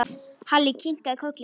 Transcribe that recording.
Halli kinkaði kolli.